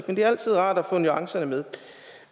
men det er altid rart at få nuancerne med